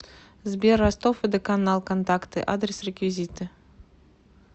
сбер ростов водоканал контакты адрес реквизиты